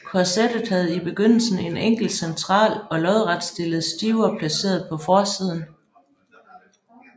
Korsettet havde i begyndelsen en enkel central og lodretstillet stiver placeret på forsiden